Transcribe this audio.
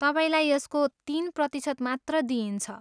तपाईँलाई यसको तिन प्रतिशत मात्र दिइन्छ।